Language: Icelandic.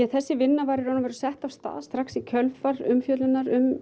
þessi vinna var í raun og veru sett af stað strax í kjölfar umfjöllunar um